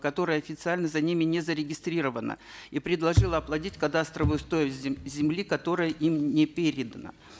которое официально за ними не зарегистрировано и предложило оплатить кадастровую стоимость земли которая им не передана